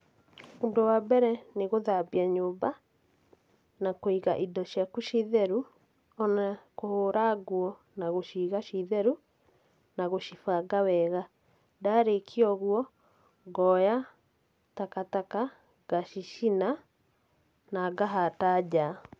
Ũndũ wa mbere nĩ gũthambia nyũmba, na kũiga indo ciaku ciĩ theru, ona kũhũra nguo na gũciga ciĩ theru, na gũcibanga wega. Ndarĩkia ũguo, ngoya takataka ngacicina, na ngahata nja.